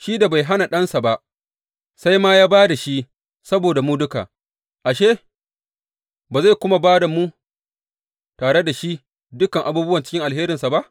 Shi da bai hana Ɗansa ba, sai ma ya ba da shi saboda mu duka, ashe, ba zai kuma ba mu, tare da shi, dukan abubuwa cikin alherinsa ba?